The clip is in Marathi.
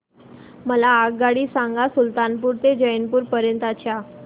मला आगगाडी सांगा सुलतानपूर ते जौनपुर पर्यंत च्या